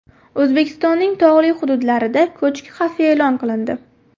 O‘zbekistonning tog‘li hududlarida ko‘chki xavfi e’lon qilindi.